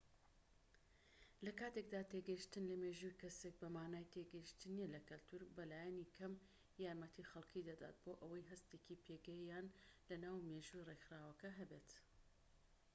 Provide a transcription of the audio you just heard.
لە کاتێکدا تێگەیشتن لە مێژووی کەسێک بە مانای تێگەیشتن نیە لە کەلتوور بە لایەنی کەم یارمەتی خەڵکی دەدات بۆ ئەوەی هەستێکی پێگەیان لە ناو مێژووی ڕێکخراوەکە هەبێت